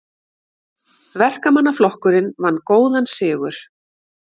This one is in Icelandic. Verkamannaflokkurinn vann góðan sigur